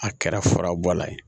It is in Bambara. A kɛra fara bɔ la ye